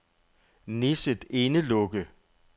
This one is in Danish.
Nisset Indelukke